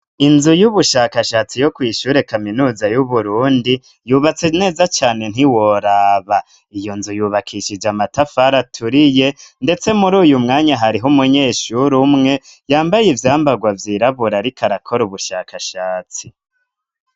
Inzu y'ubushakashatsi yo kwishura kaminuza y'uburundi yubatse neza cane ntiworaba iyo nzu yubakishije amatafara aturiye, ndetse muri uyu mwanya hariho umunyeshuru umwe yambaye ivyambarwa vyiraburariko arakora ubushakashatsi.